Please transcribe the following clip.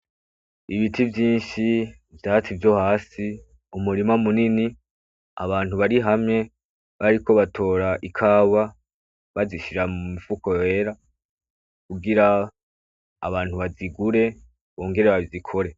Ibiti vyinshi, ivyatsi vyohasi, umurima munini, abantu barihamwe bariko batora ikawa bazishira mumifuko yera kugira abantu bazigure bongere bazikore.